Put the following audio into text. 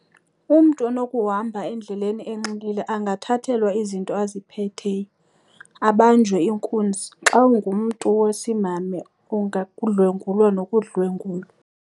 Umntu onokuhamba endleleni enxilile angathathelwa izinto aziphetheyo abanjwe inkunzi xa ungumntu wesimhamha ungadlwengulwa nokudlwengulwa.